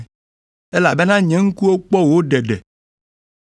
Elabena nye ŋkuwo kpɔ wò ɖeɖe,